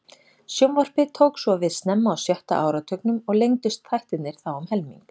Sjónvarpið tók svo við snemma á sjötta áratugnum og lengdust þættirnir þá um helming.